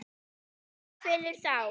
Tómið kvelur þá.